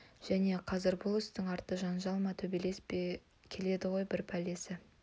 және қазір бұл істің арты жанжал ма төбелес пе келеді ғой бар пәлесі